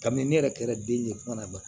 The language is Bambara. Kabini ne yɛrɛ kɛra den de ye kuma na